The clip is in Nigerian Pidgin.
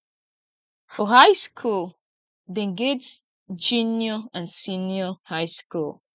for high school dem get junior and senior high school